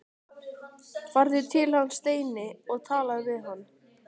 Farðu til hans, Steini, og talaðu við hann!